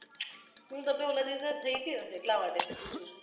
મને એવુ લાગે છે કે gas થઈ ગયો હશે એટલા માટે પુછુ છુ